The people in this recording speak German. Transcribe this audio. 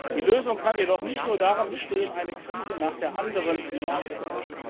Die Lösung kann jedoch nicht nur darin bestehen, eine Krise nach der anderen zu meistern.